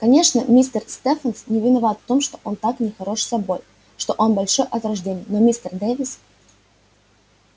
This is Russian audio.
конечно мистер стефенс не виноват в том что он так нехорош собой что он большой от рождения но мистер дэвис